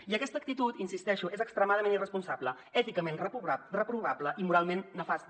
i aquesta actitud hi insisteixo és extremadament irresponsable èticament reprovable i moralment nefasta